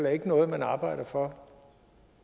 er noget man arbejder for